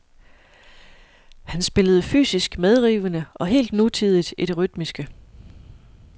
Han spillede fysisk medrivende og helt nutidigt i det rytmiske.